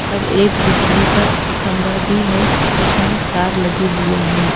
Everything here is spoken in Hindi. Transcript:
और एक बिजली का खम्भा भी है जिसमें तार लगे हुए हैं।